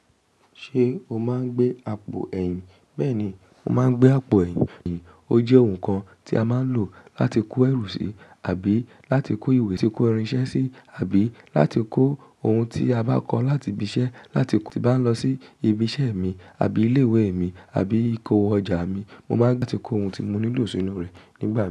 Ṣé o máa ń gbé àpò ẹ̀yìn? Bẹ́ẹ̀ ni, mo máa ń gbé àpò ẹ̀yìn. Ó jẹ́ ohun kan tí a máa ń lò láti kó ẹrù si àbí láti kó ìwé tí kò ránsẹ́ sí, àbí láti kó ohun tí a bá kọ̀ láti ibi iṣẹ́ láti bá lọ sí ibi iṣẹ́ mi àbí ilé ìwé mi, àbí kó ọjà mi. Mo máa ń gbé ti kó ohun tí mo nílò sínú rẹ̀ nígbà.